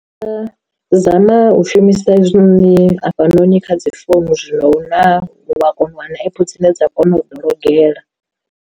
Zama u shumisa hezwi noni hafhanoni kha dzi founu zwino una wa kona u wana app dzine dza kona u ḓologela.